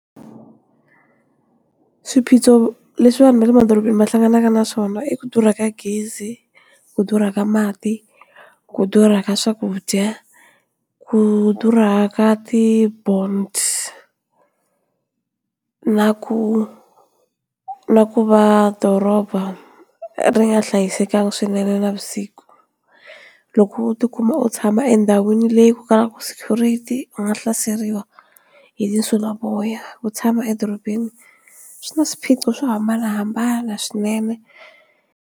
Swiphiqo leswi vanhu va le madorobeni va hlanganaka na swona i ku durha ka gezi, ku durhaka mati, ku durha ka swakudya ku durhaka ti-bounds na ku na ku va doroba ri nga hlayisekanga swinene navusiku loko u ti kuma u tshama endhawini leyi kalaka security u nga hlaseriwa hi tinsulavoya ku tshama edorobeni swi na swiphiqo swo hambanahambana swinene.